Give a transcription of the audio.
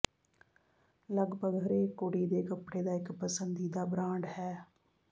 ਲੱਗਭਗ ਹਰੇਕ ਕੁੜੀ ਦੇ ਕੱਪੜੇ ਦਾ ਇੱਕ ਪਸੰਦੀਦਾ ਬ੍ਰਾਂਡ ਹੈ